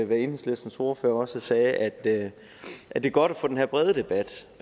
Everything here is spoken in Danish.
hvad enhedslistens ordfører også sagde nemlig at det er godt at få den her brede debat